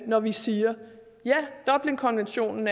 når vi siger at dublinkonventionen